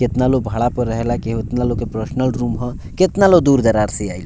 केतना लोग भाड़ा पे रहेला केतना लोग के पर्सनल रूम हअ केतना लोग दूर दराज से आइल।